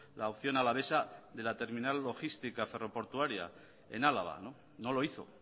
la opción alavesa de la terminal logística ferro portuaria en álava no lo hizo